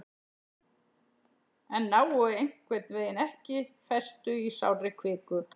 en nái einhvern veginn ekki festu í sárri kviku